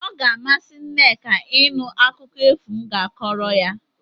O ga-amasị Nneka ịnụ akụkọ efu m ga-akọrọ ya.